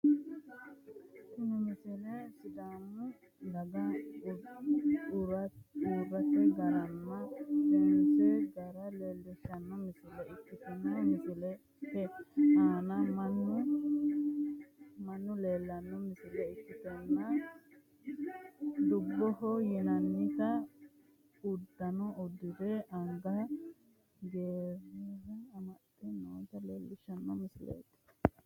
Tini misile sidaamu dagaha udirate garanna seensanni gara leelishano misile ikitanna misilete aanna Manu tubbaho yinnannita udano udirenna anga gereere amaxe noota leelishano misileeti.